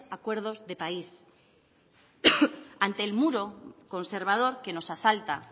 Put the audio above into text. acuerdos de país ante el muro conservador que nos asalta